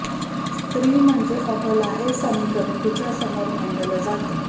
स्त्री म्हणजे अबला हे समीकरण तिच्या समोर मांडलं जात